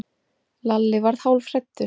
Lalli varð hálfhræddur.